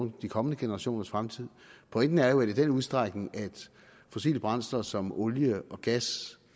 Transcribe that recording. de kommende generationers fremtid pointen er jo at i den udstrækning fossile brændstoffer som olie og gas